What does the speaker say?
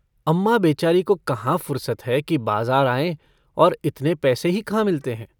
अम्माँ बेचारी को कहाँ फुरसत है कि बाज़ार आएँ। और इतने पैसे ही कहाँ मिलते हैं।